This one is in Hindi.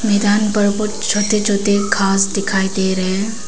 मैदान पर बहुत छोटे छोटे घास दिखाई दे रहे हैं।